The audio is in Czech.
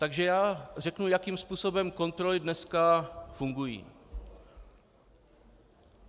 Takže já řeknu, jakým způsobem kontroly dneska fungují.